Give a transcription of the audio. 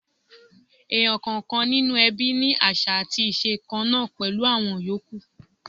Èèyàn kọ̀ọ̀kan nínú ẹbí ní àṣà àti iṣẹ̀ kan náà pẹ̀lú àwọn yòókù.